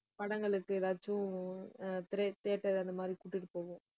படங்களுக்கு ஏதாச்சும் உம் திரை~ theatre அந்த மாதிரி கூட்டிட்டுப் போவோம்